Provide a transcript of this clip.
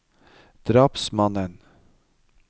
drapsmannen